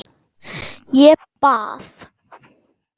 Ég bað